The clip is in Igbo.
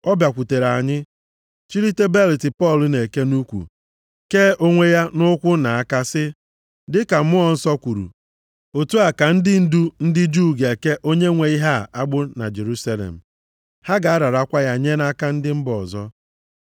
Ọ bịakwutere anyị, chilite belịt Pọl na-eke nʼukwu, kee onwe ya nʼụkwụ na aka sị, “Dịka Mmụọ Nsọ kwuru, ‘otu a ka ndị ndu ndị Juu ga-eke onye nwe ihe a agbụ na Jerusalem. Ha ga-ararakwa ya nye nʼaka ndị mba ọzọ.’ ”